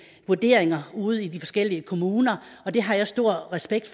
vurderinger ude i de forskellige kommuner og det har jeg stor respekt